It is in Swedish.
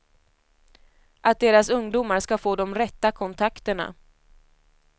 Att deras ungdomar ska få de rätta kontakterna.